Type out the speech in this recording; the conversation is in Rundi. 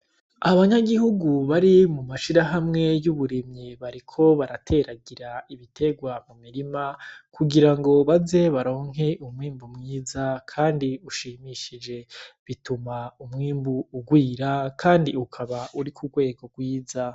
Abanyagihugu bari mumashirahamwe ry'uburimyi bariko barateragira ibiterwa m'umirima kugirango baze baronke umwimbu mwiza kandi ushimishije bituma umwimbu urwira kandi ukaba uri kurwego rwiza.